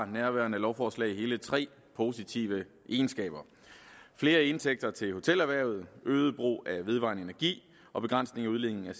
at nærværende lovforslag har hele tre positive egenskaber flere indtægter til hotelerhvervet øget brug af vedvarende energi og begrænsning af udledningen af